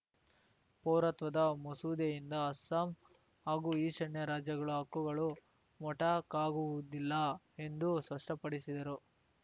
ಪೌರತ್ವದ ಮಸೂದೆಯಿಂದ ಅಸ್ಸಾಂ ಹಾಗೂ ಈಶಾನ್ಯ ರಾಜ್ಯಗಳ ಹಕ್ಕುಗಳು ಮೊಟಕಾಗುವುದಿಲ್ಲ ಎಂದೂ ಸ್ಪಷ್ಟಪಡಿಸಿದರು